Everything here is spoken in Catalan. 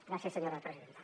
gràcies senyora presidenta